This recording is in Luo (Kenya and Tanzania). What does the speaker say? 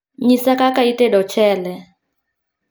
Nyisa kaka itedo ochele